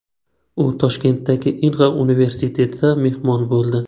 U Toshkentdagi Inha universitetida mehmon bo‘ldi .